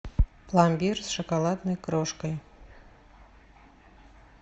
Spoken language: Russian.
пломбир с шоколадной крошкой